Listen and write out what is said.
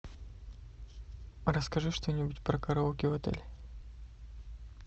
расскажи что нибудь про караоке в отеле